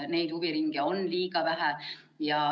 Neid huviringe on liiga vähe.